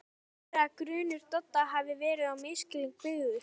Getur verið að grunur Dodda hafi verið á misskilningi byggður?